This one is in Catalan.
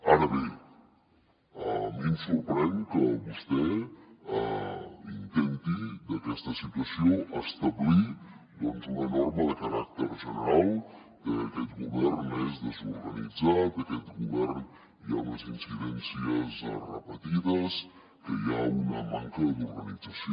ara bé a mi em sorprèn que vostè intenti d’aquesta situació establir una norma de caràcter general de que aquest govern és desorganitzat que en aquest govern hi ha unes incidències repetides que hi ha una manca d’organització